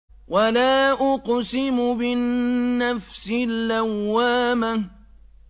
وَلَا أُقْسِمُ بِالنَّفْسِ اللَّوَّامَةِ